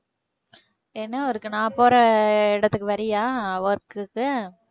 என்ன work நான் போற அஹ் இடத்துக்கு வர்றியா work க்கு